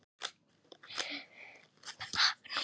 Fín- Í meðal- Krafta